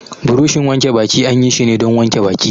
Buroshin wanke baki an yi shi ne don wanke baki.